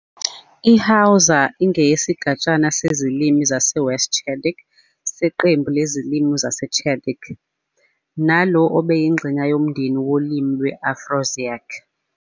IHausa ingeyesigatshana sezilimi zaseWest Chadic seqembu lezilimi zaseChadic, nalo eliyingxenye yomndeni wolimi lwe-Afroasiatic.